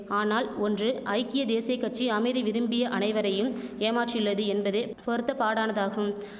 ஆனால் ஒன்று ஐக்கிய தேசிய கட்சி அமைதி விரும்பிய அனைவரையும் ஏமாற்றியுள்ளது என்பது பொருத்தப்பாடானதாகும்